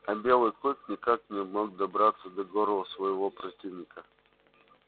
а белый клык никак не мог добраться до горла своего противника